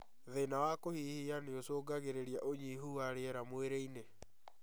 Thĩna wa kũhihia nĩũcũngagĩrĩria ũnyihu wa rĩera mwĩrĩ-inĩ